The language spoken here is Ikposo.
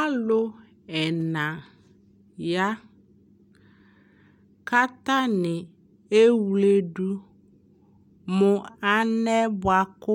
alʋ ɛna ya kʋ atani ɛwlɛdʋ mʋ anɛ bʋakʋ